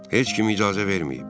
Heç kim icazə verməyib.